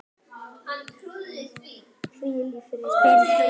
spyrð þú.